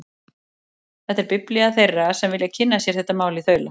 Þetta er biblía þeirra sem vilja kynna sér þetta mál í þaula.